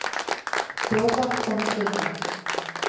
Þjófar komust undan.